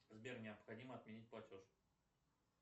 сбер необходимо отменить платеж